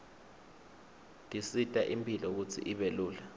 tisita imphilo kutsi ibe lula